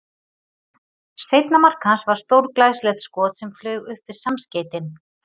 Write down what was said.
Seinna mark hans var stórglæsilegt skot sem flaug upp við samskeytin.